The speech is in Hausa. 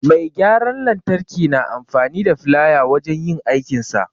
Mai gyaran lantarki na amfani da filaya wajen yin aikinsa.